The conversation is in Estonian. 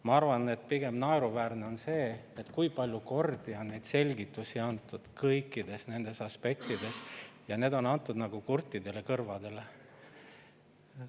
Ma arvan, et pigem on naeruväärne see, et nii palju kordi on antud selgitusi kõikides aspektides, aga neid on antud nagu kurtidele kõrvadele.